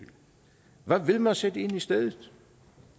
hvad vil man sætte ind i stedet